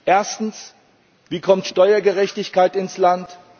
Erstens Wie kommt Steuergerechtigkeit ins Land?